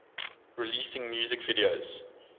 releasing music videos